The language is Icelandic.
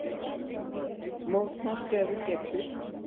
Mótmæltu ef þú getur!